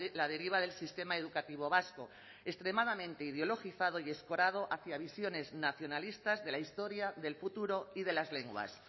la deriva del sistema educativo vasco extremadamente ideologizado y escorado hacia visiones nacionalistas de la historia del futuro y de las lenguas